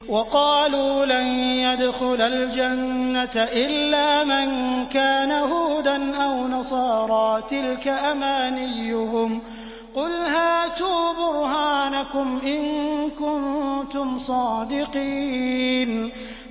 وَقَالُوا لَن يَدْخُلَ الْجَنَّةَ إِلَّا مَن كَانَ هُودًا أَوْ نَصَارَىٰ ۗ تِلْكَ أَمَانِيُّهُمْ ۗ قُلْ هَاتُوا بُرْهَانَكُمْ إِن كُنتُمْ صَادِقِينَ